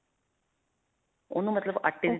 ਓਹਨੂੰ ਮਤਲਬ ਆਟੇ